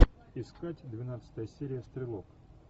искать двенадцатая серия стрелок